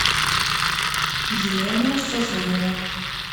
елена сазонова